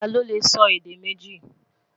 tá ló lẹ sọ èdè méjì?